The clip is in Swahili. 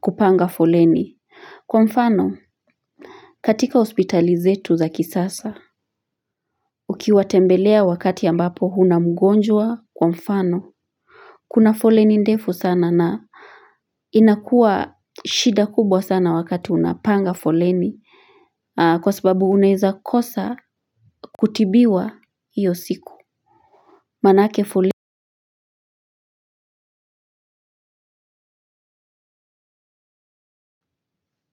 kupanga foleni kwa mfano katika hospitali zetu za kisasa. Ukiwa tembelea wakati ambapo huna mgonjwa kwa mfano kuna foleni ndefu sana na inakuwa shida kubwa sana wakati unapanga foleni kwa sababu unaeza kosa kutibiwa hiyo siku maanake foleni.